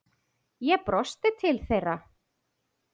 Ég brosti til þeirra.